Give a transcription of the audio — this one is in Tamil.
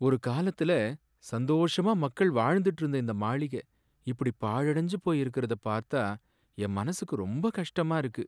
ஒரு காலத்துல சந்தோஷமா மக்கள் வாழ்ந்திட்டு இருந்த இந்த மாளிகை இப்படி பாழடைஞ்சு போய் இருக்கிறத பார்த்தா என் மனசுக்கு ரொம்ப கஷ்டமா இருக்கு.